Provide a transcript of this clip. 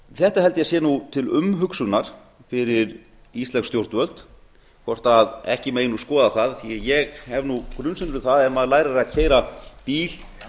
þetta held ég að sé nú til umhugsunar fyrir íslensk stjórnvöld hvort ekki megi nú skoða það því ég hef nú grunsemdir um það að ef maður lærir að keyra bíl